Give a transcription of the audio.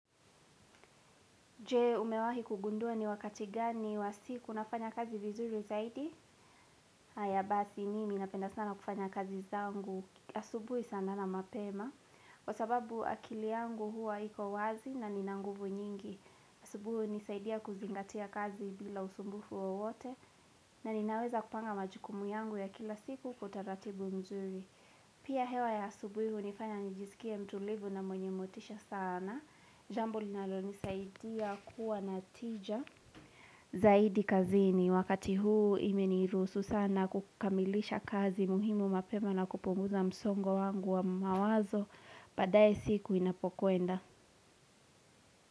Je umewahi kugundua ni wakati gani wa siku nafanya kazi vizuri zaidi? Hata basi mimi napenda sana kufanya kazi zangu asubuhi sana na mapema Kwa sababu akili yangu huwa haiko wazi na nina nguvu nyingi asubuhi hunisaidia kuzingatia kazi bila usumbufu wowote na ninaweza kupanga majukumu yangu ya kila siku kwa utaratibu mzuri Pia hewa ya asubuhi hunifanya nijisikie mtulivu na mwenye motisha sana Jambo linalo nisaidia kuwa na tija Zaidi kazini wakati huu imenihurusu sana kukamilisha kazi muhimu mapema na kupunguza msongo wangu wa mawazo baadaye siku inapokwenda.